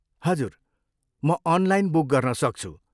हजुर, म online book गर्न सक्छु।